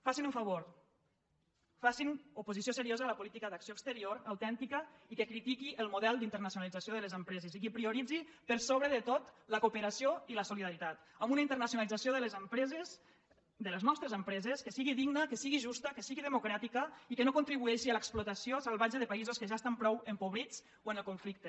facin un favor facin oposició seriosa a la política d’acció exterior autèntica i que critiqui el model d’internacionalització de les empreses i que prioritzi per sobre de tot la cooperació i la solidaritat amb una internacionalització de les empreses de les nostres empreses que sigui digna que sigui justa que sigui democràtica i que no contribueixi a l’explotació salvatge de països que ja estan prou empobrits o en conflicte